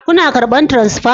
Kuna karban transfa?